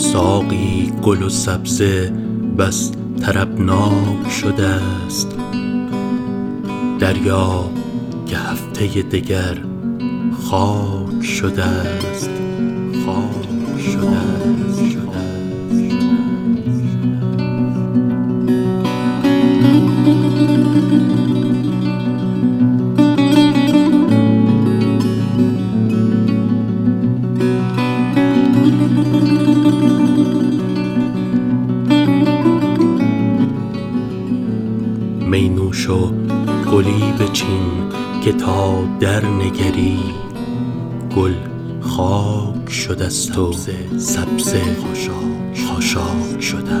ساقی گل و سبزه بس طربناک شده ست دریاب که هفته دگر خاک شده ست می نوش و گلی بچین که تا درنگری گل خاک شده ست و سبزه خاشاک شده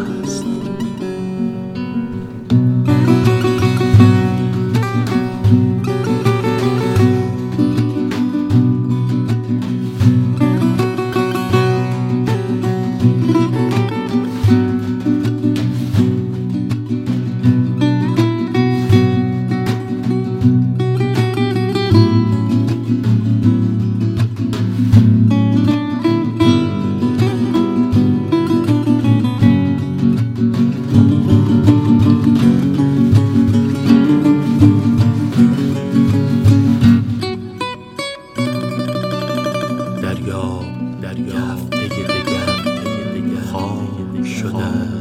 ست